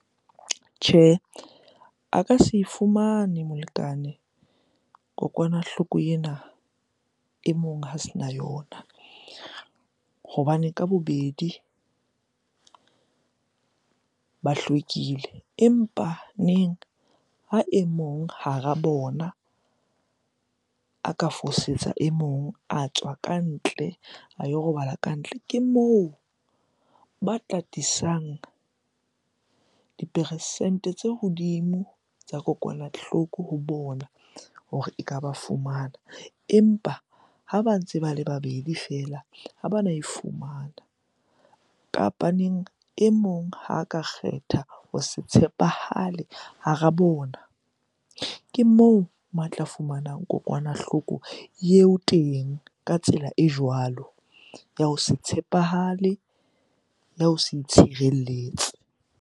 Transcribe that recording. Tjhe, a ka se fumane molekane kokwanahloko ena e mong ha sena yona hobane ka bobedi ba hlwekile. Empaneng ha e mong hara bona a ka fosetsa e mong, a tswa kantle, a yo robala ka ntle. Ke moo ba tla tlisang diperesente tse hodimo tsa kokwanahloko ho bona hore eka ba fumana. Empa ha ba ntse ba le babedi feela ha bana e fumana. Kapaneng e mong ha ka kgetha ho se tshepahale hara bona, ke moo matla fumanang kokwanahloko eo teng ka tsela e jwalo. Ya ho se tshepahale, ya ho se itshireletse.